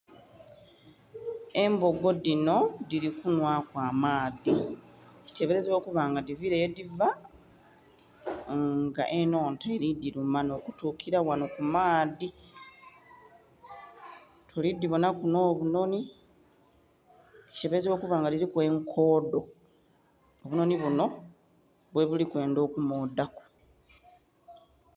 Embogo dhinho dhili kunhwa ku amaadhi kitebelezebwa kuba nga dhiviile ye dhiva nga enhonta elidhiluma nho kutukila ghanho ku maadhi tuli dhibonhaku nho bunhonhi kitebelezabwa okuba nga kuliku enkodho obunhonhi bunho bwe buli kwendha okumodhaku.